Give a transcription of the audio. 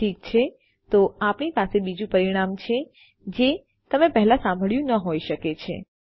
ઠીક છે તો આપણી પાસે બીજું પરિમાણ છે જે તમે પહેલા સાંભળ્યું ન હોઈ શકે છે